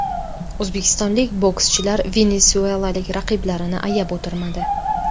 O‘zbekistonlik bokschilar venesuelalik raqiblarini ayab o‘tirmadi.